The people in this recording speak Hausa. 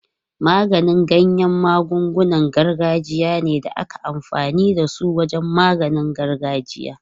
Maganin ganya magungunan gargajiya ne da ake amfani da su wajen maganin gargajiya.